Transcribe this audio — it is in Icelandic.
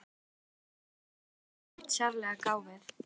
Engum fannst Lóa-Lóa neitt sérlega gáfuð.